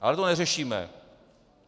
Ale to neřešíme.